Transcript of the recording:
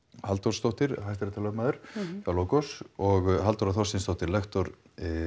Halldórsdóttir hæstaréttarlögmaður hjá Logos og Halldóra Þorsteinsdóttir lektor